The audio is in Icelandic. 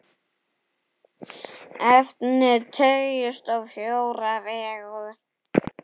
Efnið teygist á fjóra vegu.